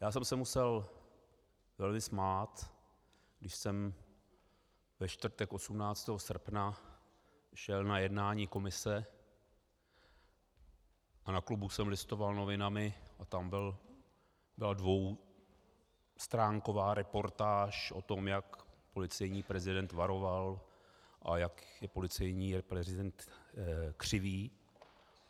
Já jsem se musel velmi smát, když jsem ve čtvrtek 18. srpna šel na jednání komise a na klubu jsem listoval novinami a tam byla dvoustránková reportáž o tom, jak policejní prezident varoval a jak je policejní prezident křivý.